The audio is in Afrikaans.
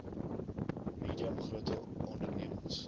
medium grote ondememings